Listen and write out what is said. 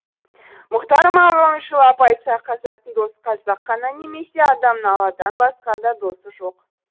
мұқтар мағауиншылап айтсақ қазақтың досы қазақ қана немесе адамның алладан басқа да досы жоқ